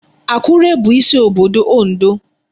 Akure bụ isi obodo Ondo.